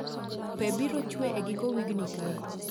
Pee biro chwe egiko wigni kae